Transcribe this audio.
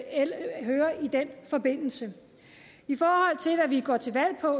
i den forbindelse i forhold til hvad vi går til valg på